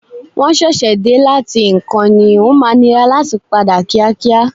Wọ́n ṣẹ̀ṣẹ̀ dé láti ìkan ní, o máa nira láti padà kíákíá.